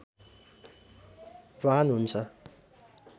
भान हुन्छ